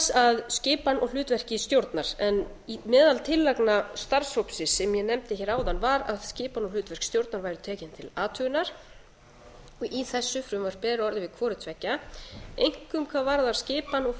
að skipan og hlutverki stjórnar en meðal tillagna starfshópsins sem ég nefndi hér áðan var að skipan og hlutverk stjórnar væri tekin til athugunar í þessu frumvarpi er orðið við hvoru tveggja einkum hvað varðar skipan og